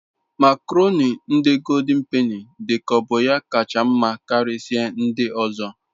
makoroni ndi goldin peni dik'oya bu okacha nma Karisia ndi ozo